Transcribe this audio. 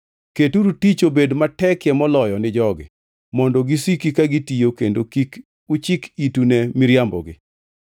Keturu tich obed matekie moloyo ni jogi mondo gisiki ka gitiyo kendo kik uchik itu ne miriambogi.”